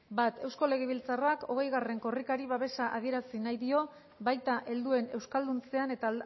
bat eusko legebiltzarrak hogei korrikari babesa adierazi nahi dio baita helduen euskalduntzean eta